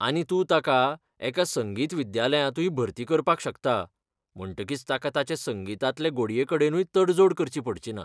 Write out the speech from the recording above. आनी तूं ताका एका संगीत विद्यालयांतूय भरती करपाक शकता म्हणटकीच ताका ताचे संगितांतले गोडयेकडेनूय तडजोड करची पडचीना.